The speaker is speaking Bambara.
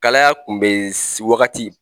Kalaya kun bɛ wagati.